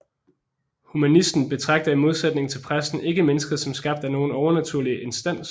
Humanisten betragter i modsætning til præsten ikke mennesket som skabt af nogen overnaturlig instans